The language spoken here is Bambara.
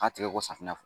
A tigɛ ko safunɛ na